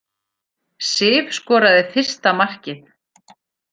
Sif skoraði fyrsta markið